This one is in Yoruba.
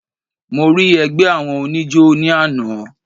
Mo rí ẹgbẹ́ àwọn oníjó ní àná.